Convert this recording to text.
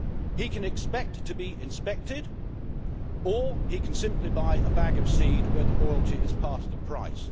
He can expect to be inspected, or he can simply buy a bag of seed where the royalty is part of the price.